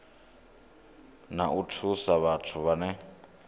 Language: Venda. na u thusa vhathu vhane